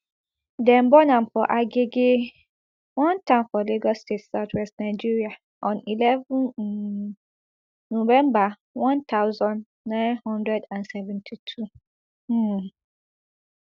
dem born am for agege one town for lagos state southwest nigeria on eleven um november one thousand, nine hundred and seventy-two um